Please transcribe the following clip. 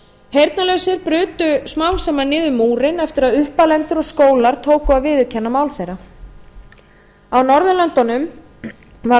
heyrnarlausir brutu smám saman niður múrinn eftir að uppalendur og skólar tóku að viðurkenna mál þeirra á norðurlöndunum var